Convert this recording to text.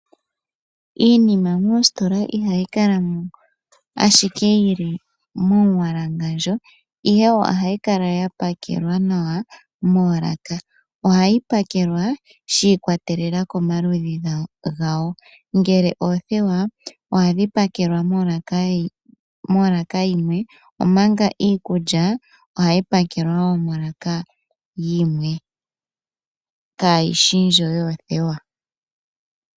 Iinima moositola ihayi kala mo ashike yi li momumbwalangandja ihe ohayi kala ya pakelwa nawa moolaka. Ohayi pakelwa shi ikwatelela komaludhi gawo, ngele oothewa ohadhi pakelwa molaka yimwe omanga iikulya ohayi pakelwa molaka yimwe kaayishi ndjo yoothewa.